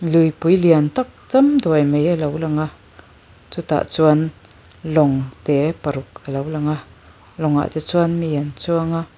luipui lian tak cham duai mai a lo lang a chu tah chuan lawng te paruk a lo lang a lawngah te chuan mi an chuang a.